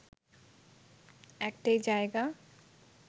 একটাই জায়গা